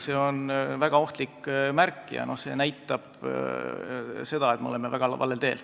See on väga ohtlik märk ja see näitab, et me oleme väga valel teel.